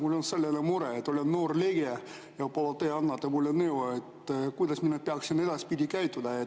Mul on selline mure, et olen noor liige, ja võib-olla te annate mulle nõu, kuidas ma peaksin edaspidi käituma.